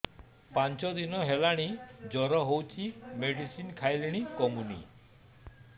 ପାଞ୍ଚ ଦିନ ହେଲାଣି ଜର ହଉଚି ମେଡିସିନ ଖାଇଲିଣି କମୁନି